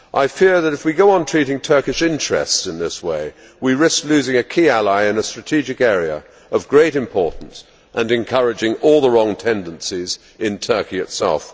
I fear that if we go on treating Turkish interests in this way, we risk losing a key ally in a strategic area of great importance and encouraging all the wrong tendencies in Turkey itself.